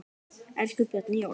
Elsku Bjarni Jón.